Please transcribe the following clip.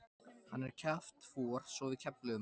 Hann er kjaftfor svo við kefluðum hann.